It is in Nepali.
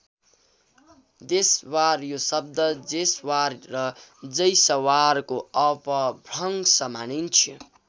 देसवार यो शब्द जेसवार र जैसवारको अपभ्रंश मानिन्छ।